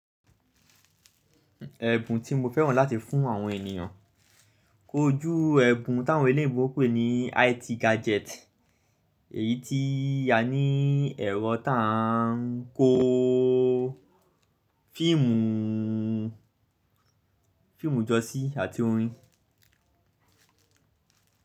Ẹ̀bùn tí mo fẹ́ràn láti fún àwọn ènìyàn, ko jú ẹ́bùn táwọn eleyinbo n pè ní IT gadget, èyí tí a ní ẹ̀rọ tá a ń kó fíìmù jọ sí àti orin.